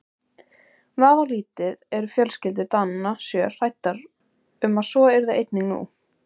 Vafalítið eru fjölskyldur Dananna sjö hræddar um að svo yrði einnig nú.